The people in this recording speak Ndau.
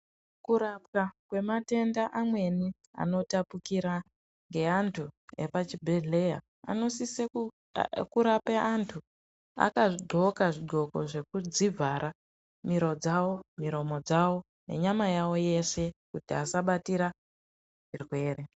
Kurapwa kwe matenda amweni ano tapukira nge antu epa chibhedhleya ano sise ku rape antu aka ndxoka zvi ndxoko zve kudzi vhara miro dzavo miromo dzavo nenyama yavo yeshe kuti vasa batika zvirwere.